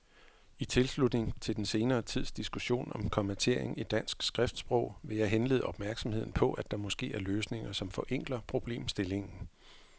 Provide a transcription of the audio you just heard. I tilslutning til den senere tids diskussion om kommatering i dansk skriftsprog vil jeg henlede opmærksomheden på, at der måske er løsninger, som forenkler problemstillingen.